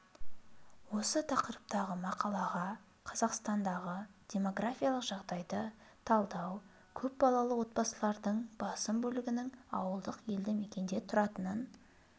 осы тақырыптағы мақалаға қазақстандағы демографиялық жағдайды талдау көпбалалы отбасылардың басым бөлігінің ауылдық елді мекенде тұратынын